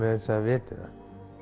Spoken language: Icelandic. viti það